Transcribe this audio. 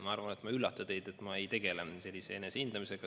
Ma arvan, ma ei üllata teid, kui ütlen, et ma ei tegele sellise enesehindamisega.